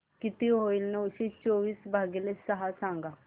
किती होईल नऊशे चोवीस भागीले सहा सांगा